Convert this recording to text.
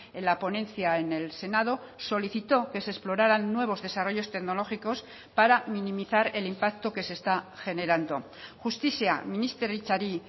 en la ponencia en el senado solicitó que se exploraran nuevos desarrollos tecnológicos para minimizar el impacto que se está generando justizia ministeritzari